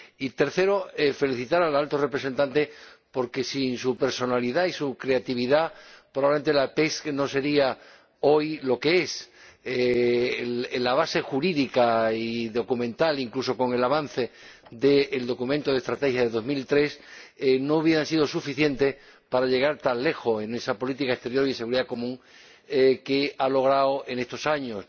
Y en tercer lugar quisiera felicitar al Alto Representante, porque sin su personalidad y su creatividad probablemente la PESC no sería hoy lo que es la base jurídica y documental, incluso con el avance del documento de estrategia de 2003, no hubiera sido suficiente para llegar tan lejos en esa política exterior y de seguridad común que ha logrado en estos años.